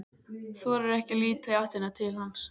Þorir ekki að líta í áttina til hans.